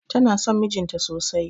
Tana son mijin ta sosai.